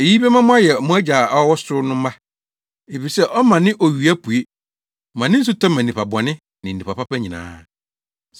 Eyi bɛma moayɛ mo Agya a ɔwɔ ɔsoro no mma, efisɛ ɔma ne owia pue, ma ne osu tɔ ma nnipa bɔne ne nnipa pa nyinaa pɛ.